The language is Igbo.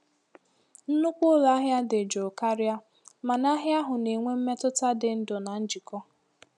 Nnukwu ụlọ ahịa dị jụụ karịa, mana ahịa ahụ na-enwe mmetụta dị ndụ na njikọ.